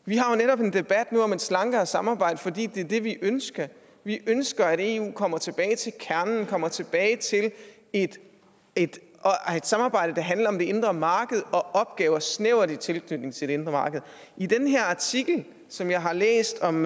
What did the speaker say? vi har jo netop en debat nu om et slankere samarbejde fordi det er det vi ønsker vi ønsker at eu kommer tilbage til kernen kommer tilbage til et et samarbejde der handler om det indre marked og opgaver i snæver tilknytning til det indre marked i den her artikel som jeg har læst om